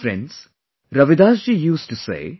Friends, Ravidas ji used to say